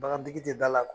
Bagan tigi tɛ da la